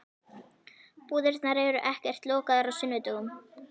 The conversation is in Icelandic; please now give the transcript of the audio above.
Búðirnar eru ekkert lokaðar á sunnudögum.